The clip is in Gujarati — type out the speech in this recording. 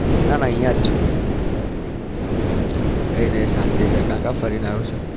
નાના અહિયાં જ છું કઈ નઈ શાંતિ છે. ક્યાં ક્યાં ફરીને આવ્યો છે?